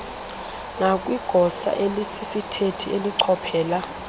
nakwigosa elisisithethi elichophela